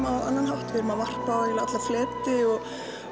á annan hátt við erum að varpa á alla fleti og